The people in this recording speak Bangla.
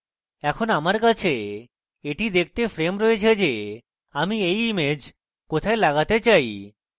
এখন আমার কাছে এটি দেখতে frame রয়েছে যে আমি এই image কোথায় লাগাতে চাই